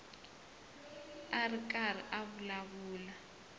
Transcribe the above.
a ri karhi a vulavula